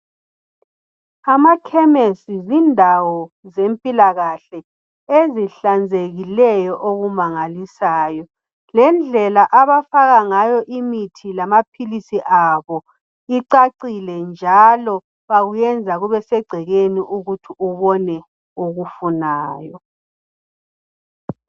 Amakhemesi zindawo zempilakahle ezihlanzekileyo okumangalisayo lendlela abafaka ngayo imithi lamaphilisi abo icacile njalo bakwenza kubesegcekeni ukuthi ubone okufunayo.